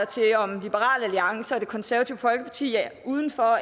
til om liberal alliance og det konservative folkeparti er uden for